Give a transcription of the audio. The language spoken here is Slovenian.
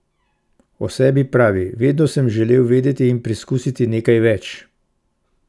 O sebi pravi: "Vedno sam želel vedeti in preizkusiti nekaj več.